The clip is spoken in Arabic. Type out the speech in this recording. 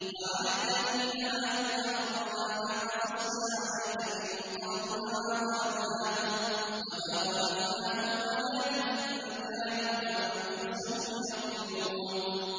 وَعَلَى الَّذِينَ هَادُوا حَرَّمْنَا مَا قَصَصْنَا عَلَيْكَ مِن قَبْلُ ۖ وَمَا ظَلَمْنَاهُمْ وَلَٰكِن كَانُوا أَنفُسَهُمْ يَظْلِمُونَ